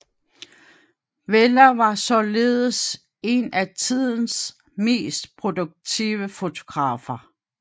Weller var således en af tidens mest produktive fotografer